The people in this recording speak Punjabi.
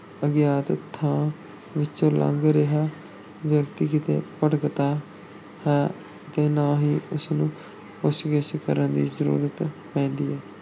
ਅਗਿਆਤ ਥਾਂ ਵਿੱਚੋਂ ਲੰਘ ਰਿਹਾ ਵਿਅਕਤੀ ਕਿਤੇ ਭਟਕਦਾ ਹੈ ਤੇ ਨਾ ਹੀ ਉਸਨੂੰ ਪੁੱਛ-ਗਿੱਛ ਕਰਨ ਦੀ ਜ਼ਰੂਰਤ ਪੈਂਦੀ ਹੈ।